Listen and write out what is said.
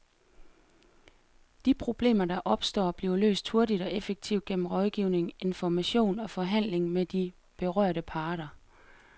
De problemer, der opstår, bliver løst hurtigt og effektivt gennem rådgivning, information og forhandling med de berørte parter.